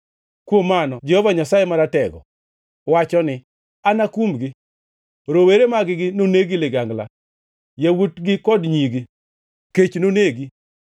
Kuom mano Jehova Nyasaye Maratego wacho ni, ‘Anakumgi. Rowere mag-gi noneg gi ligangla, yawuotgi kod nyigi kech nonegi.